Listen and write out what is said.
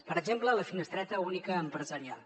per exemple la finestreta única empresarial